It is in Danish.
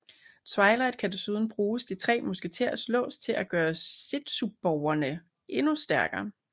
Twilight kan desuden bruge de tre musketers lås til at gøre zetsuborgene endnu stærkere